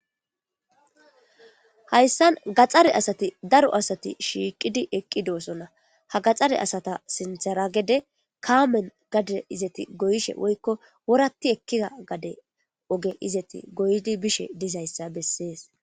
Hayissan gaxxare asati daro asati shiiqidi eqqi doosonna ha gaxare asata sintheragede kaamen gade izati goyishe woyiko woratti ekkida gade oge izati goydi bishe dizayssa besses